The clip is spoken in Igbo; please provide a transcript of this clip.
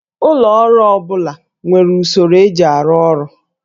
Ụlọ ọrụ ọ bụla nwere usoro eji arụ ọrụ